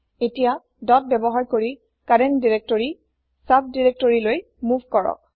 এতিয়া ডট ব্যৱহাৰ কৰি কাৰেন্ত দিৰেক্তৰি চাব দিৰেক্তৰিলৈ মুভ কৰক